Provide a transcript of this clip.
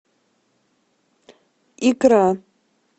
икра